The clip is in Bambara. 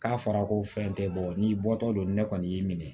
K'a fɔra ko fɛn tɛ bɔ n'i bɔtɔ don ne kɔni y'i minɛ